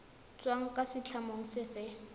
tswang kwa setlamong se se